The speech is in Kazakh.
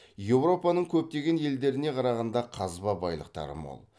еуропаның көптеген елдеріне қарағанда қазба байлықтары мол